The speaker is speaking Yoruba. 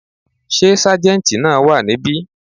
Sé sájéntì náà wà níbí